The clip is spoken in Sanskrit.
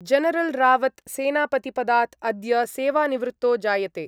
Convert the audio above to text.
जनरल् रावत् सेनापतिपदात् अद्य सेवानिवृत्तो जायते।